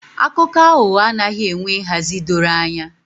Akụkọ aghụghọ anaghị enwe nhazi dọrọ anya